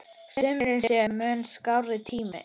Sumrin séu mun skárri tími.